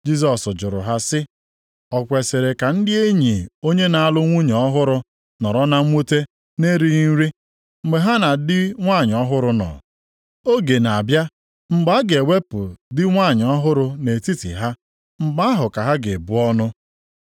Jisọs jụrụ ha sị, “O kwesiri ka ndị enyi onye na-alụ nwunye ọhụrụ nọrọ na mwute na-erighị nri, mgbe ha na di nwanyị ọhụrụ nọ? Oge na-abịa mgbe a ga-ewepụ di nwanyị ọhụrụ nʼetiti ha, mgbe ahụ ka ha ga-ebu ọnụ.